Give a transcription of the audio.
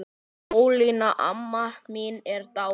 Ólína amma mín er dáin.